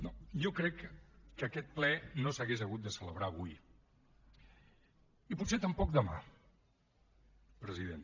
no jo crec que aquest ple no s’hauria hagut de celebrar avui i potser tampoc demà president